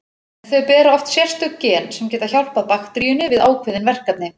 Þau bera oft sérstök gen sem geta hjálpað bakteríunni við ákveðin verkefni.